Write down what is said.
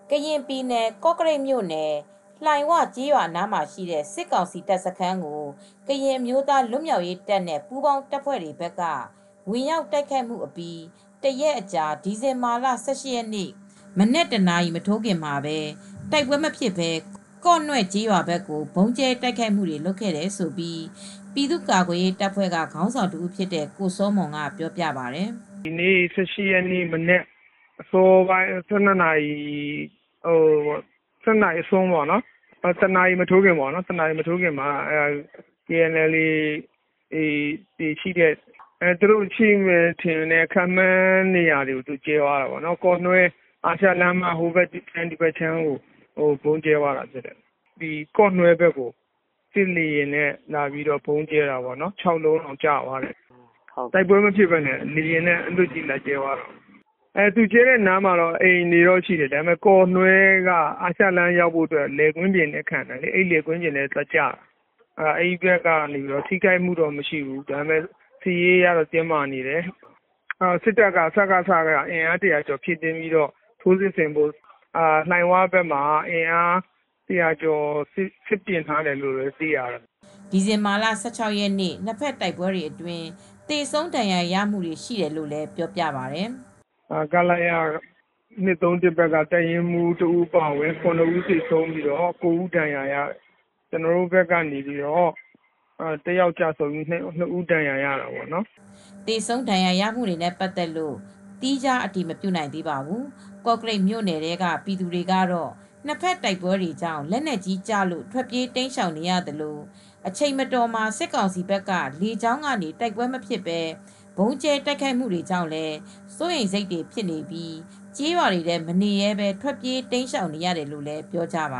ကရင်ပြည်နယ် ကော့ကရိတ်မြို့နယ် လှိုင်၀ ကျေးရွာ အနားမှာရှိတဲ့ စစ်ကောင်စီတပ်စခန်းကို ကရင်အမျိုးသား လွတ်မြောက်ရေးတပ်နဲ့ ပူးပေါင်းတပ်ဖွဲ့တွေ ဘက်က ဝင်ရောက်တိုက်ခိုက်မှု အပြီး တရက်အကြာ ဒီဇင်ဘာလ ၁၈ ရက်နေ့ မနက် တနာရီ မထိုးခင်မှာ တိုက်ပွဲမဖြစ်ဘဲ ကော့နွဲ့ကျေးရွာဘက်ကို ဗုံးကြဲတိုက်ခိုက်မှုတွေ လုပ်ခဲ့တယ်လို့ ပြည်သူ့ကာကွယ်ရေးတပ်ဖွဲ့က ကိုစောမွန်က ပြောပြပါတယ်။ “ ဒီနေ ၁၈ ရက်နေ့ မနက် အစောပိုင်း ၁၂ နာရီ အစွန်း ၁ နာရီမထိုးခင်မှာ KNLA ရှိနိုင်မယ်ထင်တဲ့ နေရာကို ဗုံးကြဲသွားတာပေါ့နော်။ ကော့နွဲ့ ကျေးရွာ အာရှလမ်း ဟိုဘက် ဒီဘက်လမ်းတွေကို ဗုံးကြဲသွားတာပေါ့နော်။ ကော့နွဲ့ဘက်ကို စစ်လေယာဉ်နဲ့လာကြဲတာ ၆လုံးကျသွားတယ်။ တိုက်ပွဲမဖြစ်ဘဲ အလွတ်ကြီး လာကြဲသွားတာပေါ့နော်။ သူကြဲသွားတဲ့ နေရာမှာတော့ အိမ်တွေရှိတယ်။ ကော့နွဲ့ရွာကိုရောက်ဖို့က အာရှလမ်းမှာ လယ်ကွင်းတွေ ခံနေတော့ လယ်ကွင်းတွေဘက်ကိုသွားကျတယ်။ အဲဒီဘက်က ထိခိုက်မှုတော့ မရှိဘူး။ စစ်ရေးအရ တင်းမားနေတယ်။ စစ်ကောင်စီဘက်က လှိုင်ဝဘက်မှာ အင်အား ၁၀၀ ကျော်နဲ့ စစ်ပြင်နေတယ်လို့ သိရပါတယ်။” ဒီဇင်ဘာလ ၁၆ ရက်နေ့က နှစ်ဖက်တိုက်ပွဲတွေအတွင်း သေဆုံဒဏ်ရာရမှု ရှိတယ်လို့လည်း ပြောပါတယ်။ “ ခလရ ၂၃၁ ဘက်က ၇ ဦးသေဆုံးပြီး ၉ဦးဒဏ်ရာရတယ်။ ကျနော်တို့ဘက်ကလည်း တယောက်ကျဆုံးပြီး နှစ်ဦးဒဏ်ရာရတာပေါ့နော်။ ” သေဆုံး ဒဏ်ရာရမှုတွေနဲ့ ပတ်သက်လို့တော့ သီးခြား အတည်မပြုနိုင်ပါဘူး။ ကော့ကရိတ်မြို့နယ်ထဲက ပြည်သူတွေကတော့ နှစ်ဖက်တိုက်ပွဲတွေကြောင့် လက်နက်ကြီးတွေကျလို့ထွက်ပြေးတိမ်းရှောင် နေရသလို အချိန်မတော်မှာ စစ်ကောင်စီဘက်က လေကြောင်းကနေ တိုက်ပွဲမဖြစ်ဘဲ ဗုံးကြဲတိုက်ခိုက်မူတွေကြောင့်လည်း စိုးရိမ်စိတ်တွေ ဖြစ်နေပြီး ကျေးရွာတွေထဲ မနေရဲဘဲ ထွက်ပြေးတိမ်းရှောင်နေရတယ်လို့လည်း ပြောကြပ